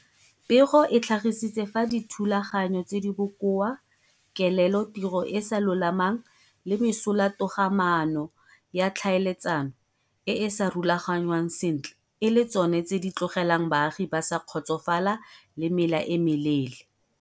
Pego e tlhagisitse fa dithulaganyo tse di bokoa, kelelotiro e e sa lolamang le mesolatogamaano ya tlhaeletsano e e sa rulagangwang sentle e le tsona tse di tlogelang baagi ba sa kgotsofala le mela e meleele.